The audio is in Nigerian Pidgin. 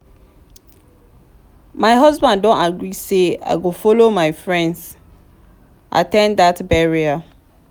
my husband don agree say i go follow my friends at ten d dat burial